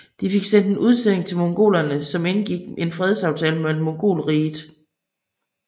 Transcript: De fik sendt en udsending til mongolerne som indgik en fredsaftale med Mongolriget